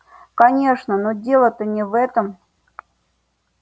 конечно но дело-то не в этом